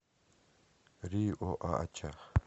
риоача